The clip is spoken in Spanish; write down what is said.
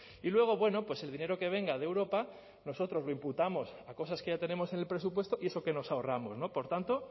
y luego bueno pues el dinero que venga de europa nosotros lo imputamos a cosas que ya tenemos en el presupuesto y eso que nos ahorramos por tanto